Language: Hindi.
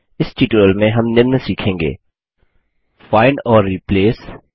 इस ट्यूटोरियल में हम निम्न सीखेंगे फाइंड और Replaceखोजने और बदले में रखना